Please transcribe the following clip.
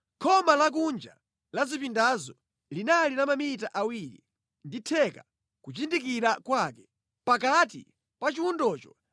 Khoma lakunja la zipindazo linali la mamita awiri ndi theka kuchindikira kwake. Pakati pa chiwundocho